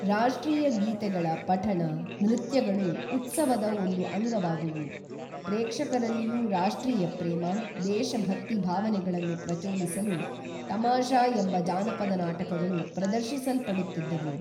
ರಾಷ್ಟ್ರೀಯ ಗೀತೆಗಳ ಪಠಣ ನೃತ್ಯಗಳು ಉತ್ಸವದ ಒಂದು ಅಂಗವಾದುವು ಪ್ರೇಕ್ಷಕರಲ್ಲಿಯೂ ರಾಷ್ಟ್ರೀಯ, ಪ್ರೇಮ ದೇಶಭಕ್ತಿ ಭಾವನೆಗಳನ್ನು ಪ್ರಚೋದಿಸಲು ತಮಾಷಾ ಎಂಬ ಜಾನಪದ ನಾಟಕಗಳು ಪ್ರದರ್ಶಿಸಲ್ಪಡುತ್ತಿದ್ದವು